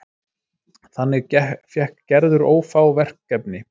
Þannig fékk Gerður ófá verkefni.